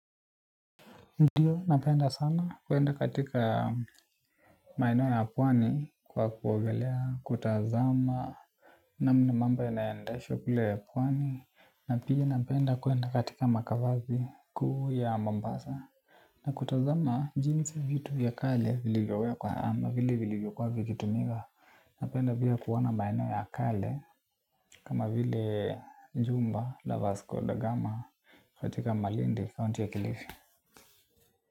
Ndio, napenda sana kuenda katika maeneo ya pwani kwa kuogelea, kutazama na mnamambo yanaendeshwakule pwani na pia napenda kwenda katika makavani kuu ya mombasa na kutazama jinsi vitu vya kale vilivyowekwa vilivyo kuwa vikitumika napenda pia kuona maeneo ya kale kama vile jumba lavasco da gama katika malindi kaunti ya kilifi.